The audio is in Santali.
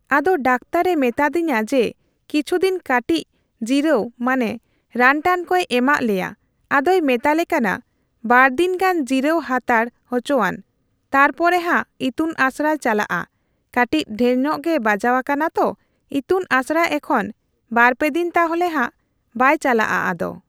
ᱟᱫᱚ ᱰᱟᱠᱛᱟᱨᱮ ᱢᱮᱛᱟᱫᱤᱧᱟᱹ ᱡᱮ ᱠᱤᱪᱷᱩᱫᱤᱱ ᱠᱟᱴᱤᱪ ᱡᱤᱨᱟᱹᱣ ᱢᱟᱱᱮ ᱨᱟᱱᱴᱟᱱ ᱠᱚᱭ ᱮᱢᱟᱜ ᱞᱮᱭᱟ ᱟᱫᱚᱭ ᱢᱮᱛᱟᱞᱮ ᱠᱟᱱᱟ ᱵᱟᱨᱫᱤᱱ ᱜᱟᱱ ᱡᱤᱨᱟᱹᱣ ᱦᱟᱛᱟᱲ ᱩᱪᱩᱣᱟᱱ ᱛᱟᱨᱯᱚᱦᱟᱜ ᱤᱛᱩᱱ ᱟᱥᱲᱟᱭ ᱪᱟᱞᱟᱜ ᱟ ᱠᱟᱴᱤᱪ ᱰᱷᱮᱨᱧᱚᱜ ᱜᱮ ᱵᱟᱡᱟᱣ ᱟᱠᱟᱱᱟ ᱛᱚ ᱤᱛᱩᱱ ᱟᱥᱲᱟ ᱮᱠᱷᱚᱱ ᱵᱟᱨᱯᱮᱫᱤᱱ ᱛᱟᱦᱚᱞᱮ ᱦᱟᱜ ᱵᱟᱭᱪᱟᱞᱟᱜ ᱟᱫᱚ᱾